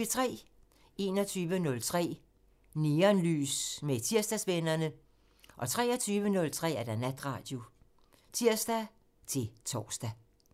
21:03: Neonlys med Tirsdagsvennerne (tir) 23:03: Natradio (tir-tor)